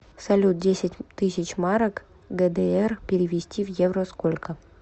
салют десять тысяч марок гдр перевести в евро сколько